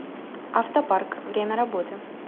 автопарк время работы